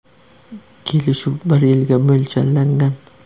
Kelishuv bir yilga mo‘ljallangan.